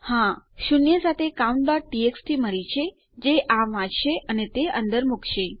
હા આપણને શૂન્ય સાથે countટીએક્સટી મળી છે જે આ વાંચશે અને તે અંદર મુકશે